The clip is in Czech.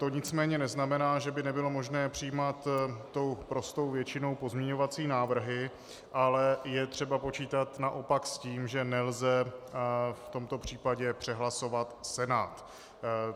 To nicméně neznamená, že by nebylo možné přijímat tou prostou většinou pozměňovací návrhy, ale je třeba počítat naopak s tím, že nelze v tomto případě přehlasovat Senát.